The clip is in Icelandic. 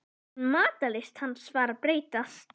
Jafnvel matarlyst hans var að breytast.